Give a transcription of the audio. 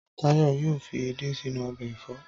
Táyọ̀ yóò fi edé sínú ọbẹ̀ ẹ̀fọ́.